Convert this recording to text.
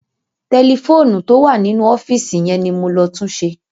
Tẹlifóònù tó wà nínú ọ́fíìsì yẹn ni mo lọ túnṣe.